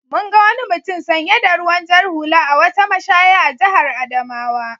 Mun ga wani mutum sanye da ruwan jar hula a wata mashaya a jihar Adamawa.